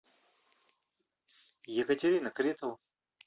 екатерина кретова